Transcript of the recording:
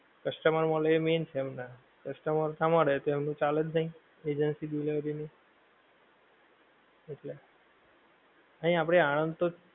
customer મલે એ main છે, customer ના મળે તો એમનું ચાલેજ નહીં, agency delivery ની એટલે, અહીં આપડે આનંદ તો